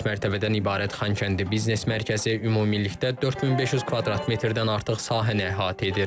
Dörd mərtəbədən ibarət Xankəndi biznes mərkəzi ümumilikdə 4500 kvadrat metrdən artıq sahəni əhatə edir.